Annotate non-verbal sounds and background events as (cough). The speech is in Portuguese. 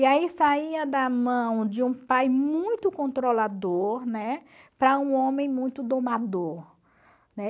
E aí saía da mão de um pai muito controlador, né, para um homem muito domador. (unintelligible)